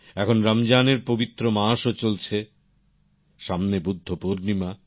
এখন রমজানের পবিত্র মাসও চলছে সামনে বুদ্ধপূর্ণিমা